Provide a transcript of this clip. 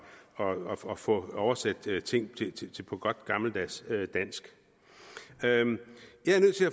at få oversat ting til godt gammeldags dansk jeg vil